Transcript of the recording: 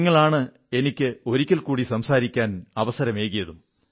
നിങ്ങളാണ് എനിക്ക് വീണ്ടും ഒരിക്കൽ കൂടി സംസാരിക്കാൻ അവസരമേകിയതും